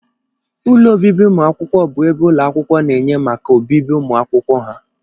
Ụlọ obibi ụmụakwụkwọ bụ ebe ụlọakwụkwọ na-enye maka obibi ụmụakwụkwọ ha.